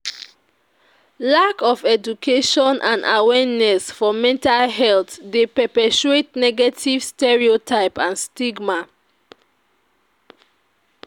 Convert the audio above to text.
Lack of education and awarneness for mental health dey perpetuate negative stereotype and stigma.